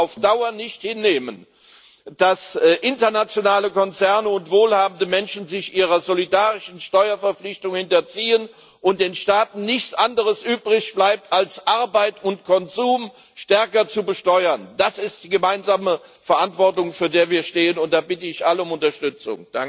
Wir können auf Dauer nicht hinnehmen, dass internationale Konzerne und wohlhabende Menschen sich ihrer solidarischen Steuerverpflichtungen entziehen und den Staaten nichts anderes übrig bleibt, als Arbeit und Konsum stärker zu besteuern. Das ist die gemeinsame Verantwortung, vor der wir stehen, und da bitte ich alle um Unterstützung.